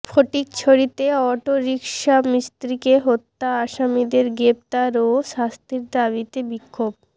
ফটিকছড়িতে autorickshaw মিস্ত্রিকে হত্যা আসামিদের গ্রেপ্তার ও শাস্তির দাবিতে বিক্ষোভ